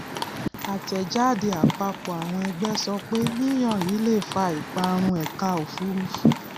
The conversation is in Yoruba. àtẹjáde àpapọ àwọn ẹgbẹ sọ pé yíyan yìí lè fa ìparun ẹka òfùrúfú